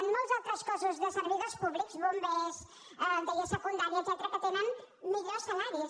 en molts altres cossos de servidors públics bombers deia secundària etcètera tenen millors salaris